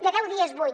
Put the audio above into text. de deu dies vuit